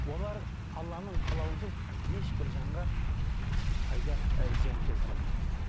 олар алланың қалауынсыз ешбір жанға пайда і зиян келтіре алмайды дейді